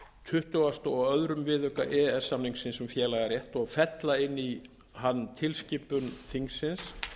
tuttugustu og öðrum viðauka e e s samningsins um félagarétt og fella inn í hann tilskipun þingsins